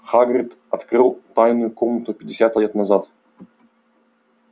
хагрид открыл тайную комнату пятьдесят лет назад